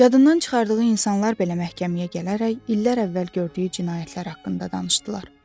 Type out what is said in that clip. Yadından çıxardığı insanlar belə məhkəməyə gələrək illər əvvəl gördüyü cinayətlər haqqında danışdılar.